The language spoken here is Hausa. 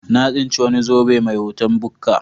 Na tsinci wani zobe mai hoton bukka.